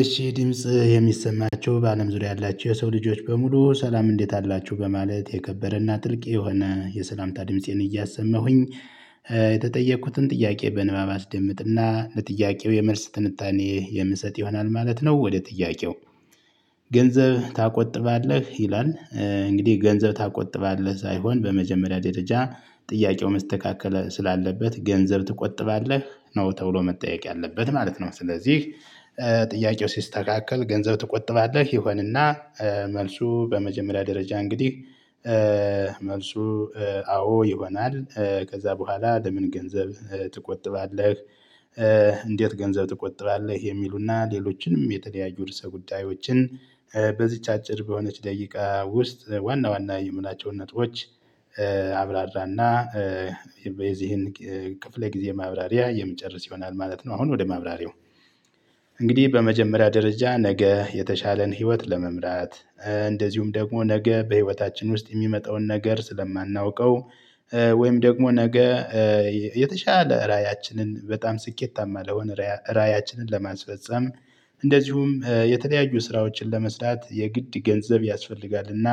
እሺ ድምጽ የሚሰማቸው በአለም ዙሪያ ያላችው የሰው ልጆች በሙሉ ሰላም እንዴት አላችሁ በማለት የከበረና ጥልቅ የሆነ የሰላምታ ድምፄን እያሰማሁኝ የተጠየኩትን ጥያቄ በንባብ አስደምጥና ለጥያቄው የመልስ ትንታኔ የምሰጥ ይሆናል ማለት ነው። ወደ ጥያቄው ገንዘብ ትቆጥባለህ ይላል? እንግዲህ ገንዘብ ትቆጥባለህ ሳይሆን በመጀመሪያ ደረጃ ጥያቄው መስተካከል ስላለበት ገንዘብ ትቆጥባለህ ነው ተብሎ መጠየቅ ያለበት ማለት ነው። ስለዚህ ጥያቄው ሲስተካከል ገንዘብ ትቆጥባለህ ይሆንና መልሱ በመጀመሪያ ደረጃ እንግዲህ መልሱ አዎ ይሆናል ከዛ በኋላ ለምን ገንዘብ ትቆጥባለህ? እንዴት ገንዘብ ትቆጥባለህ የሚሉና ሌሎችንም የተለያዩ ርዕሰ ጉዳዮችን በዚች አጭር በሆነች ደቂቃ ውስጥ ዋና ዋና የምላቸውን ነጥቦች አብራራና የዚህን ክፍለ ጊዜ ማብራሪያ የሚጨርስ ይሆናል ማለት ነው። አሁን ወደ ማብራሪያው እንግዲህ በመጀመሪያ ደረጃ ነገ የተሻለን ህይወት ለመምራት እንደዚሁም ደግሞ ነገ በህይወታችን ውስጥ የሚመጣውን ነገር ስለማናውቀው ወይም ደግሞ ነገ የተሻለ ራዕያችንን በጣም ስኬታማ ለሆነ ራዕያችንን ለማስፈፀም። እንደዚሁም የተለያዩ ስራዎችን ለመስራት የግድ ገንዘብ ያስፈልጋል እና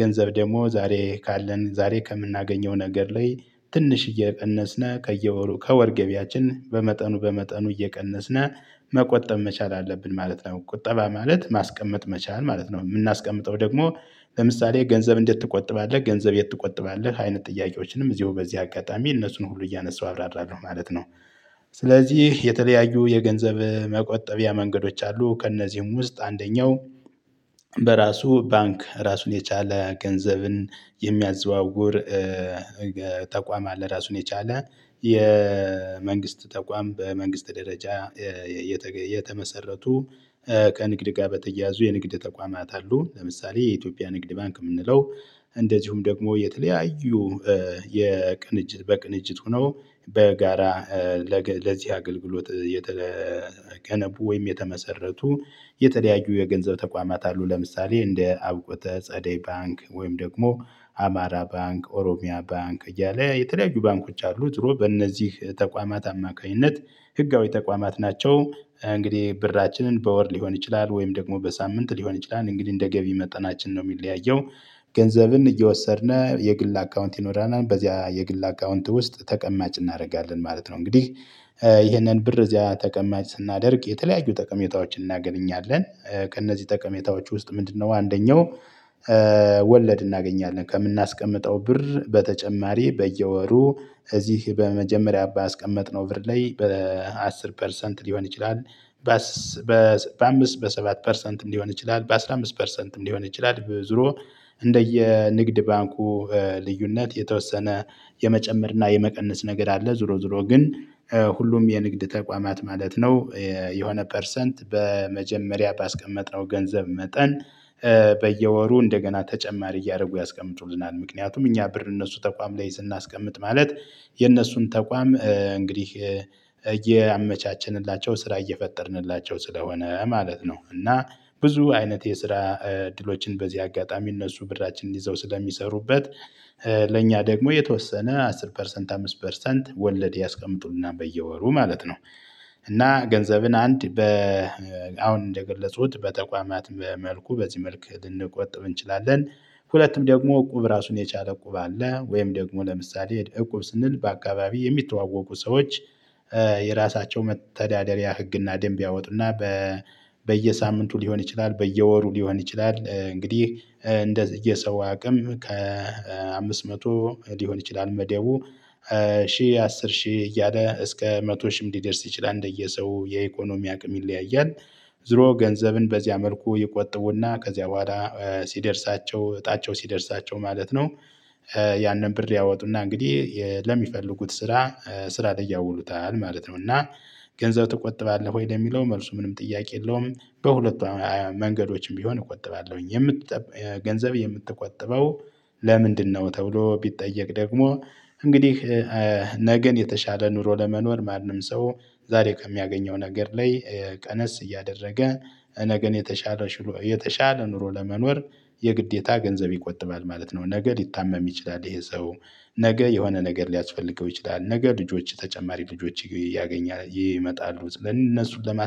ገንዘብ ደግሞ ዛሬ ካለን ዛሬ ከምናገኘው ነገር ላይ ትንሽ እየቀነስና ከየወሩ ከወር ገቢያችን በመጠኑ በመጠኑ እየቀነስን መቆጠብ መቻል አለብን ማለት ነው። ቁጠባ ማለት ማስቀመጥ መቻል ማለት ነው። የምናስቀምጠው ደግሞ ለምሳሌ ገንዘብ እንዴት ትቆጥባለህ ገንዘብ የት ትቆጥባለህ አይነት ጥያቄዎችንም እዚሁ በዚህ አጋጣሚ እነሱን ሁሉ እያነሳው አብራራለሁ ማለት ነው። ስለዚህ የተለያዩ የገንዘብ መቆጠቢያ መንገዶች አሉ። ከእነዚህም ውስጥ አንደኛው በራሱ ባንክ ራሱን የቻለ ገንዘብን የሚያዘዋውር ተቋም አለ። ራሱን የቻለ የመንግስት ተቋም በመንግስት ደረጃ የተመሰረቱ ከንግድ ጋር በተያያዙ የንግድ ተቋማት አሉ። ለምሳሌ የኢትዮጵያ ንግድ ባንክ የምንለው። እንደዚሁም ደግሞ የተለያዩ የቅንጅት በቅንጅት ሆነው በጋራ ለዚህ አገልግሎት የተገነቡ ወይም የተመሰረቱ የተለያዩ የገንዘብ ተቋማት አሉ። ለምሳሌ እንደ አውቆተ ጸደይ ባንክ ወይም ደግሞ አማራ ባንክ ኦሮሚያ ባንክ እያለ የተለያዩ ባንኮች አሉ። ጥሩ በእነዚህ ተቋማት አማካኝነት ህጋዊ ተቋማት ናቸው። እንግዲህ ብራችንን በወር ሊሆን ይችላል ወይም ደግሞ በሳምንት ሊሆን ይችላል እንግዲህ እንደ ገቢ መጠናችን ነው የሚለያየው። ገንዘብን እየወሰድን የግል አካውንት ይኖራል በዚያ የግል አካውንት ውስጥ ተቀማጭ እናደርጋለን ማለት ነው። እንግዲህ ይህንን ብር እዚያ ተቀማጭ ስናደርግ የተለያዩ ጠቀሜታዎችን እናገኛለን። ከእነዚህ ጠቀሜታዎች ውስጥ ምንድነው አንደኛው? ወለድ እናገኛለን ከምናስቀምጠው ብር በተጨማሪ በየወሩ እዚህ በመጀመሪያ ባስቀመጥነው ብር ላይ በአሥር ፐርሰንት ሊሆን ይችላል። በአምስት በሰባት ፐርሰንት እንዲሆን ይችላል በአስራ አምስት ፐርሰንት እንዲሆን ይችላል ዞሮ እንደየ ንግድ ባንኩ ልዩነት የተወሰነ የመጨመር እና የመቀነስ ነገር አለ። ዞሮ ዞሮ ግን ሁሉም የንግድ ተቋማት ማለት ነው። የሆነ ፐርሰንት በመጀመሪያ ባስቀመጥነው ገንዘብ መጠን በየወሩ እንደገና ተጨማሪ እያደረጉ ያስቀምጡልናል። ምክንያቱም እኛ ብር እነሱ ተቋም ላይ ስናስቀምጥ ማለት የእነሱን ተቋም እንግዲህ እያመቻቸንላቸው ስራ እየፈጠርንላቸው ስለሆነ ማለት ነው። እና ብዙ አይነት የስራ ድሎችን በዚህ አጋጣሚ እነሱ ብራችንን ይዘው ስለሚሰሩበት ለእኛ ደግሞ የተወሰነ አሥር ፐርሰንት አምስት ፐርሰንት ወለድ ያስቀምጡልናል በየወሩ ማለት ነው። እና ገንዘብን አንድ አሁን እንደገለጹት በተቋማት በመልኩ በዚህ መልክ ልንቆጥብ እንችላለን። ሁለትም ደግሞ እቁብ ራሱን የቻለ እቁብ አለ። ወይም ደግሞ ለምሳሌ እቁብ ስንል በአካባቢ የሚተዋወቁ ሰዎች የራሳቸው መተዳደሪያ ህግና ደንብ ያወጡና። በየሳምንቱ ሊሆን ይችላል በየወሩ ሊሆን ይችላል እንግዲህ እንደ የሰው አቅም ከአምስት መቶ ሊሆን ይችላል መደቡ ሺህ አስር ሺህ እያለ እስከ መቶ ሺህም ሊደርስ ይችላል እንደየሰው የኢኮኖሚ አቅም ይለያያል። ዝሮ ገንዘብን በዚያ መልኩ ይቆጥቡና ከዚያ በኋላ ሲደርሳቸው እጣቸው ሲደርሳቸው ማለት ነው። ያንን ብር ሊያወጡና እንግዲህ ለሚፈልጉት ስራ ስራ ያውሉታል ማለት ነው። እና ገንዘብ ትቆጥባለህ ወይ ለሚለው መልሱ ምንም ጥያቄ የለውም። በሁለቱ መንገዶችም ቢሆን እቆጥባለሁኝ። ገንዘብ የምትቆጥበው ለምንድነው? ተብሎ ቢጠየቅ ደግሞ እንግዲህ ነገን የተሻለ ኑሮ ለመኖር ማንም ሰው ዛሬ ከሚያገኘው ነገር ላይ ቀነስ እያደረገ ነገን የተሻለ የተሻለ ኑሮ ለመኖር የግዴታ ገንዘብ ይቆጥባል ማለት ነው። ነገ ሊታመም ይችላል ይሄ ሰው ነገ የሆነ ነገር ሊያስፈልገው ይችላል ነገ ልጆች ተጨማሪ ልጆች እያገኛ ይመጣሉ እነሱን